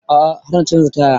A'a har na canza taya